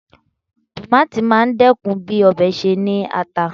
Tòmáátì máa dẹ́kun bí ọbẹ̀ ṣe ní ata sí.